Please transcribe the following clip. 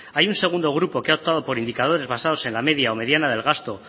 hay un segundo grupo que ha optado por indicadores basados en la media o mediana del gasto